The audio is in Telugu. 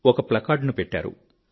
ఒక ప్లాకార్డ్ ను పెట్టారు